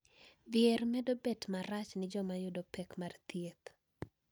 Dhier medo bedo marach ne joma yudo pek mag thieth